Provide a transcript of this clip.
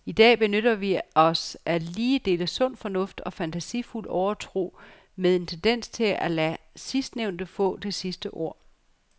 I dag benytter vi os af lige dele sund fornuft og fantasifuld overtro med en tendens til at lade sidstnævnte få det sidste ord.